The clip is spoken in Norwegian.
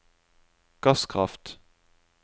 gasskraft